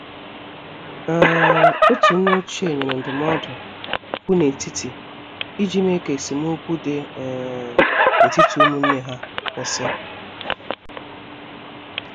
um Otu nne ochie nyere ndụmọdụ kwụ n' etiti iji mee ka esemokwi dị um n'etiti ụmụnne ha kwụsị.